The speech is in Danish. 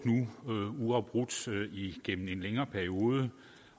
uafbrudt igennem en længere periode